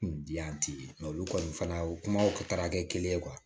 Bi yan tɛ yen olu kɔni fana o kuma taara kɛ kelen ye